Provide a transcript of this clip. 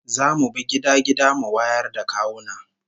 Za mu bi gida gida mu wayar da kawuna